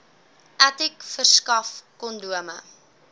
aticc verskaf kondome